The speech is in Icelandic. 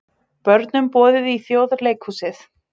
Börnum boðið í Þjóðleikhúsið